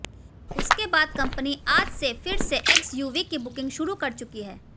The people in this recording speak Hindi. उसके बाद कंपनी आज से फिर से एक्सयूवी की बुकिंग शुरू कर चुकी है